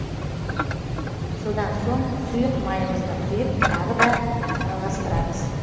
содан соң сұйық майымызды құйып тағы да араластырамыз